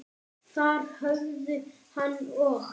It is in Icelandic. Þar höfðu hann og